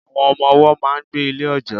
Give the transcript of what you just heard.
Àwọn Ọmọ ọwọ́ máa n gbé Ilé òjọ́